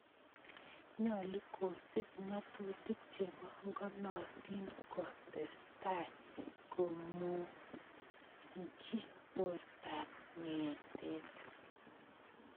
Nyolu kosiib ng�atutik chebankonootin ko teese tai ko munykyi bortaab ng�eetrt